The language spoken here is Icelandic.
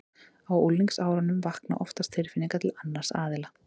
Á unglingsárunum vakna oftast tilfinningar til annars aðila.